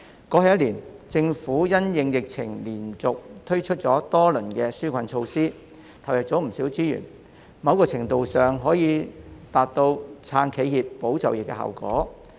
過去一年，政府因應疫情連續推出多輪紓困措施，投入了不少資源，某程度上可以達到"撐企業、保就業"的效果。